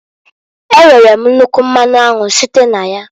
E nwere m nnukwu mmanụ anwụ site n'aya.